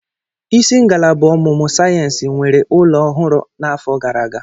Isi ngalaba ọmụmụ sayensị nwere ụlọ ọhụrụ na'afọ gara aga.